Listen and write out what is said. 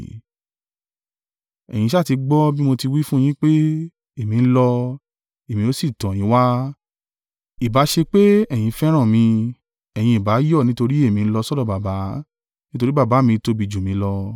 “Ẹ̀yin sá ti gbọ́ bí mo ti wí fún yín pé, ‘Èmi ń lọ, èmi ó sì tọ̀ yín wá.’ Ìbá ṣe pé ẹ̀yin fẹ́ràn mi, ẹ̀yin ìbá yọ̀ nítorí èmi ń lọ sọ́dọ̀ Baba; nítorí Baba mi tóbi jù mí lọ.